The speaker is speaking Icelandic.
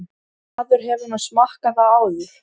Maður hefur nú smakkað það áður.